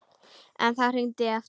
En þá er hringt aftur.